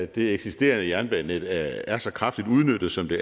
det eksisterende jernbanenet er så kraftigt udnyttet som det